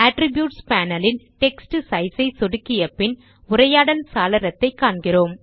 attributes panel ன் text size ஐ சொடுக்கிய பின் உரையாடல் சாளரத்தை காண்கிறோம்